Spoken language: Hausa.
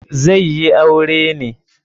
Zai yi aure ne.